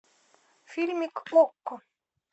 фильмик окко